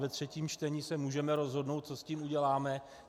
Ve třetím čtení se můžeme rozhodnout, co s tím uděláme.